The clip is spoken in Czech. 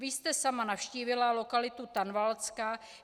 Vy jste sama navštívila lokalitu Tanvaldska.